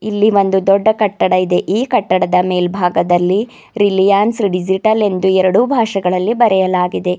ಇಲ್ಲಿ ಒಂದು ದೊಡ್ಡ ಕಟ್ಟಡ ಇದೆ ಕಟ್ಟಡದ ಮೇಲ್ಭಾಗದಲ್ಲಿ ರಿಲಯನ್ಸ್ ಡಿಜಿಟಲ್ ಎಂದು ಎರಡು ಭಾಷೆಗಳಲ್ಲಿ ಬರೆಯಲಾಗಿದೆ.